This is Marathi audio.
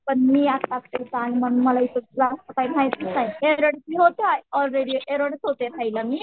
पण मी आत्ताचं इथे आहे म्हणून मला इथलं काही माहिती नाही. रहायला मी